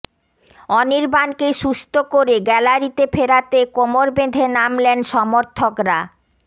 অনির্বাণকে সুস্থ করে গ্যালারিতে ফেরাতে কোমর বেঁধে নামলেন সমর্থকরা